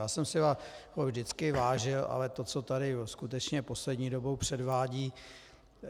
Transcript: Já jsem si vás vždycky vážil, ale to, co tady skutečně poslední dobou předvádíte...